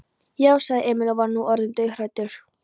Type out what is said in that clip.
Já, sagði Emil og var nú orðinn dauðhræddur.